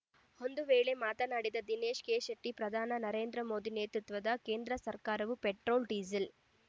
ಒಂದು ವೇಳೆ ಮಾತನಾಡಿದ ದಿನೇಶ ಕೆಶೆಟ್ಟಿ ಪ್ರಧಾನಿ ನರೇಂದ್ರ ಮೋದಿ ನೇತೃತ್ವದ ಕೇಂದ್ರ ಸರ್ಕಾರವು ಪೆಟ್ರೋಲ್‌ ಡೀಸೆಲ್‌